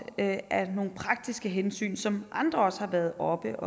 af nogle praktiske hensyn som andre også har været oppe